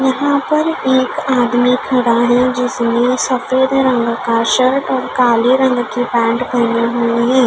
यहाँ पर एक आदमी खड़ा है जिसने सफ़ेद रंग का शर्ट और काले रंग की पैन्ट पहनी हुई है।